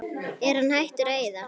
Er hann hættur að eyða?